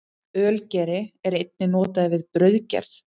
Ölgeri er einnig notaður við brauðgerð.